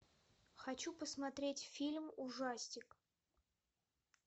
хочу посмотреть фильм ужастик